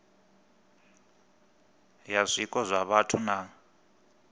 ya zwiko zwa vhathu na